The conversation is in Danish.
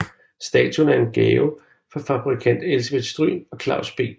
Statuen er en gave fra fabrikant Elsebeth Stryhn og Claus B